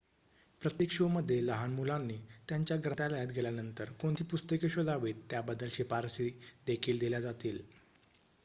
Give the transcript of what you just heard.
प्रत्येक शोमध्ये लहान मुलांनी त्यांच्या ग्रंथालयात गेल्यानंतर कोणती पुस्तके शोधावीत त्याबद्दल शिफारशी देखील दिल्या जातील